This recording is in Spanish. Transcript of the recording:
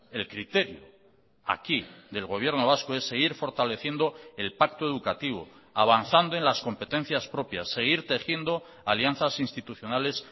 el criterio aquí del gobierno vasco es seguir fortaleciendo el pacto educativo avanzando en las competencias propias seguir tejiendo alianzas institucionales